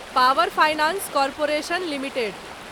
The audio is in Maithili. power finance corporation limited